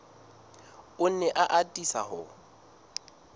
o ne a atisa ho